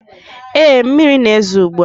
Ee, mmiri na-ezo ugbu a.